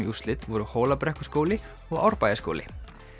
úrslit voru Hólabrekkuskóli og Árbæjarskóli